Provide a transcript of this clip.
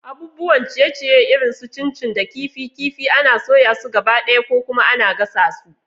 Abubuwan ciye-ciye irin su chin chin da kifi kifi ana soya su gabaɗaya ko kuma ana gasa su.